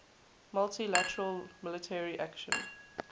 multi lateral military action